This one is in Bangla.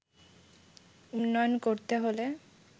উন্নয়ন করতে হলে